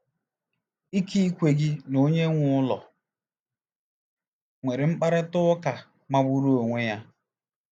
Ikekwe gị na onye nwe ụlọ nwere mkparịta ụka magburu onwe ya.